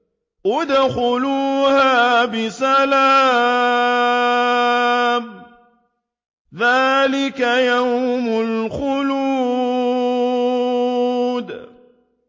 ادْخُلُوهَا بِسَلَامٍ ۖ ذَٰلِكَ يَوْمُ الْخُلُودِ